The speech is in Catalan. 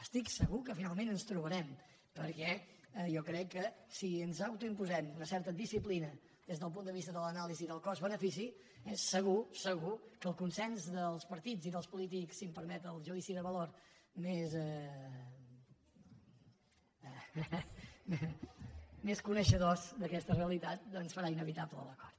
estic segur que finalment ens trobarem perquè jo crec que si ens autoimposem una certa disciplina des del punt de vista de l’anàlisi del cost benefici eh segur segur que el consens dels partits i dels polítics si em permet el judici de valor més coneixedors d’aquesta realitat doncs farà inevitable l’acord